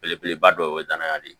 Belebeleba dɔw ye danaya de ye